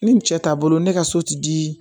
Ni cɛ taabolo ne ka so ti di